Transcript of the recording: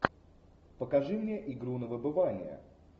покажи мне игру на выбывание